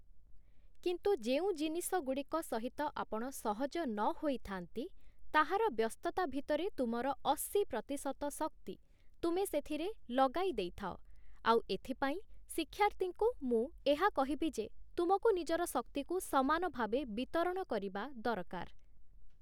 କିନ୍ତୁ ଯେଉଁ ଜିନିଷଗୁଡ଼ିକ ସହିତ ଆପଣ ସହଜ ନହୋଇ ଥାଆନ୍ତି, ତାହାର ବ୍ୟସ୍ତତା ଭିତରେ ତୁମର ଅଶୀ ପ୍ରତିଶତ ଶକ୍ତି, ତୁମେ ସେଥିରେ ଲଗାଇ ଦେଇଥାଅ, ଆଉ ଏଥିାଇଁ ଶିକ୍ଷାର୍ଥୀଙ୍କୁ ମୁଁ ଏହା କହିବି ଯେ, ତୁମକୁ ନିଜର ଶକ୍ତିକୁ ସମାନ ଭାବେ ବିତରଣ କରିବା ଦରକାର ।